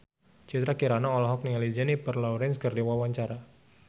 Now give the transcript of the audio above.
Citra Kirana olohok ningali Jennifer Lawrence keur diwawancara